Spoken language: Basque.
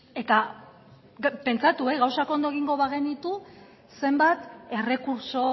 eta pentsatu gauzak ondo egingo bagenitu zenbat errekurtso